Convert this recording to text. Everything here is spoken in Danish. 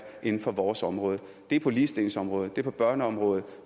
inden for vores område det er på ligestillingsområdet det er på børneområdet